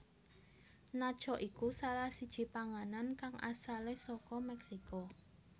Nacho iku salah siji panganan kang asale saka Meksiko